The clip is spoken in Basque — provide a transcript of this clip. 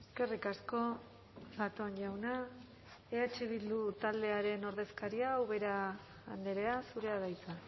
eskerrik asko zatón jauna eh bildu taldearen ordezkaria ubera andrea zurea da hitza